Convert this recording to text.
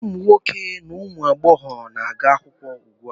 Ụmụ nwoke na ụmụ agbọghọ na-aga ụlọakwụkwọ ugbua.